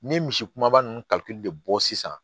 N ye misi kumaba ninnu kalite de bɔ sisan